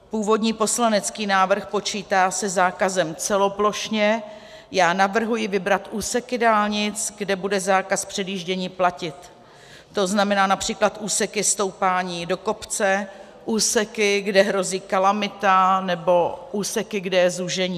Původní poslanecký návrh počítá se zákazem celoplošně, já navrhuji vybrat úseky dálnic, kde bude zákaz předjíždění platit, to znamená například úseky stoupání do kopce, úseky, kde hrozí kalamita, nebo úseky, kde je zúžení.